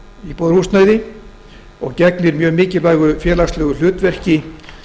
íbúðarhúsnæði og gegnir mjög mikilvægu félagslegu hlutverki